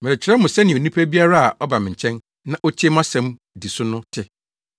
Merekyerɛ mo sɛnea onipa biara a ɔba me nkyɛn, na otie mʼasɛm di so no te.